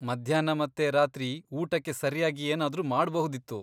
ಮಧ್ಯಾಹ್ನ ಮತ್ತೆ ರಾತ್ರಿ ಊಟಕ್ಕೆ ಸರಿಯಾಗಿ ಏನಾದ್ರೂ ಮಾಡ್ಬಹುದಿತ್ತು.